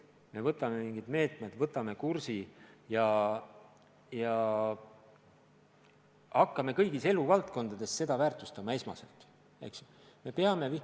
Me rakendame mingid meetmed, võtame kursi ja hakkame kõigis eluvaldkondades seda esmasena väärtustama.